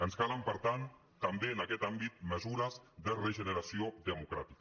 ens calen per tant també en aquest àmbit mesures de regeneració democràtica